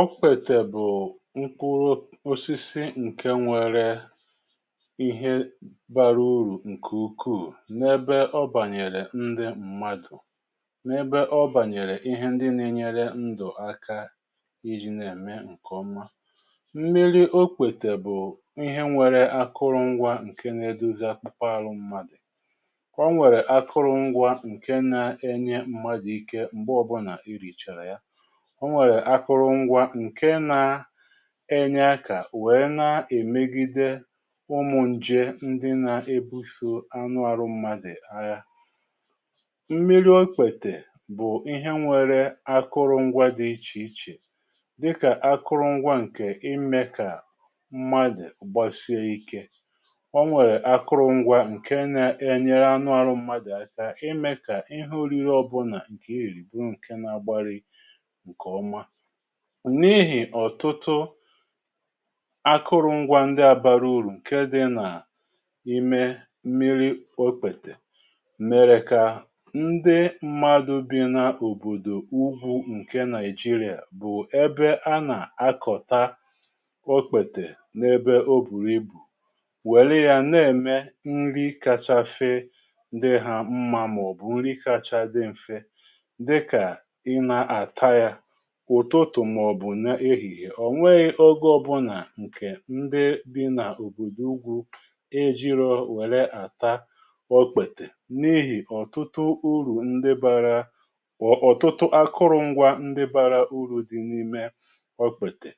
ọkpètè bụ̀ nkwụrụ osisi ǹke nwere ihe bara urù ǹkè ukwuù n’ebe ọ bànyèrè ndị mmadụ̀ n’ebe ọ bànyèrè ihe ndị na-enyere ndụ̀ aka iji̇ na-ème ǹke ọma, mmiri okpètè bụ̀ ihe nwere akụrụngwȧ ǹke na-edozi akpukpa aru mmadụ̀, o nwèrè akụrụngwȧ ǹke na-enye mmadụ̀ ike m̀gbe ọbụnà irìchàrà ya, onwèrè akụrụ ngwa ǹke na-enye akà weè na-èmegide ụmụ̀ ǹje ndị na-ebufu anụ arụ̇ mmadụ̀ aha. Mmiri okpètè bụ̀ ihe nwere akụrụ ngwa dị ichè ichè dịkà, akụrụ ngwa ǹkè ime kà mmadụ̀ gbasie ikė onwèrè akụrụ ngwa ǹke na-enyere anụ arụ̇ mmadụ̀ aka ime kà ihe orire ọbụnà ǹkè irìrì bụ nke na-agbari nke oma, n’ihì ọ̀tụtụ akụrụngwȧ ndị abara urù ǹke dị n’ime mmiri okpètè mèrè kà ndị mmadụ̀ bi̇ na-òbòdò ugwu ǹke nàịjịrịà bụ̀ ebe a nà-akọ̀ta okpètè n’ebe o bùrù ibù wère ya na-ème nri kacha fee ndị ha mma màọ̀bụ̀ nri kacha dị m̀fe dika ina ataya ụtụtụ̀ màọ̀bụ̀ na ehihe, ọ̀ nweghị̇ ogo ọbụlà ǹkè ndị bị nà òbòdò ugwu eji̇rọ̇ wère àtà ọkpètè n’ihì ọ̀tụtụ urù ndị bara ọ̀ ọ̀tụtụ akụrụ̇ ngwȧ ndị bara urù dị n’ime ọkpètè,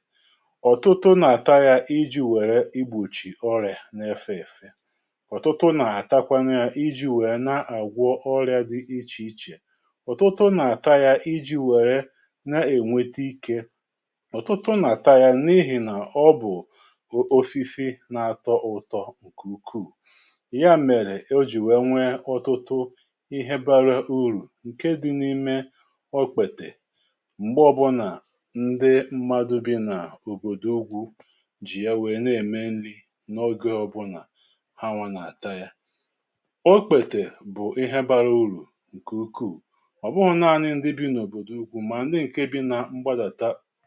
ọ̀tụtụ nà-àta yȧ iji̇ wère igbòchì ọrị̀à na-efe èfe, ọ̀tụtụ nà-àtakwa ya iji̇ wèe na-àgwọ ọrị̀ȧ dị ichè ichè, ọ̀tụtụ nà-àta ya iji̇ wère na ewete ike, ọ̀tụtụ nà-àta ya n’ihì nà ọ bụ̀ osisi na-atọ ụtọ ǹkè ukwuù ya mèrè o jì wère nwee ọtụtụ ihe bara urù ǹke dị̇ n’ime okpètè m̀gbe ọbụnà ndị mmadụ̇ bi nà òbòdò ugwù jì ya wèe na-ème nri n’oge ọbụnà hanwa nà-àta ya. okpètè bụ̀ ihe bara urù ǹkè ukwuù obughi nani ndi bi na obodo ugwu ma ndi nke bi naà gbà�àta